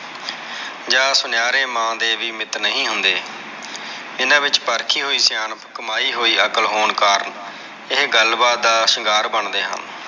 ਜਾ ਸੁਨਾਰੇ ਮਾਂ ਦੇ ਵੀ ਮਿੱਤ ਨਹੀਂ ਹੁੰਦੇ ਇਹਨਾਂ ਵਿਚ ਪਰਖੀ ਹੋਇ ਸਿਆਣਪ ਕਮਾਈ ਹੋਈ ਅਕਾਲ ਹੋਣ ਕਾਰਨ ਇਹ ਗੱਲ ਬਾਤ ਦਾ ਸ਼ਿੰਗਾਰ ਬਣਦੇ ਹਨ।